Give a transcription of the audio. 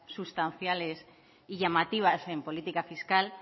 sustanciales y llamativas en política fiscal